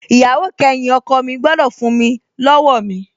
Ìyàwó kẹyìn ọkọ̀ mi gbọ́dọ̀ fún mi lọ́wọ́ mi